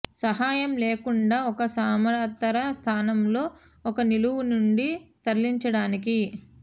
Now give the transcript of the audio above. సహాయం లేకుండా ఒక సమాంతర స్థానంలో ఒక నిలువు నుండి తరలించడానికి